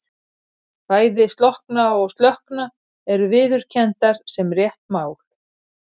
Bæði slokkna og slökkna eru viðurkenndar sem rétt mál.